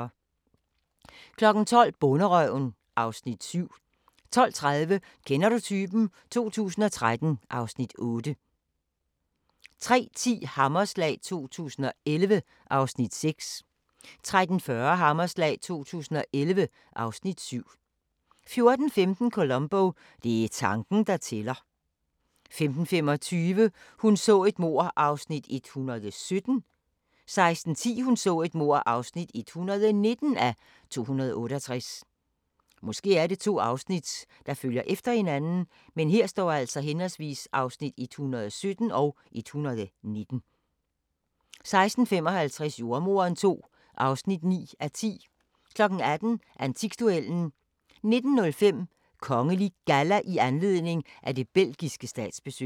12:00: Bonderøven (Afs. 7) 12:30: Kender du typen? 2013 (Afs. 8) 13:10: Hammerslag 2011 (Afs. 6) 13:40: Hammerslag 2011 (Afs. 7) 14:15: Columbo: Det er tanken, der tæller 15:25: Hun så et mord (117:268) 16:10: Hun så et mord (119:268) 16:55: Jordemoderen II (9:10) 18:00: Antikduellen 19:05: Kongelig Galla i anledning af det belgiske statsbesøg